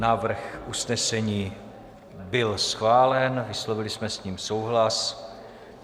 Návrh usnesení byl schválen, vyslovili jsme s ním souhlas.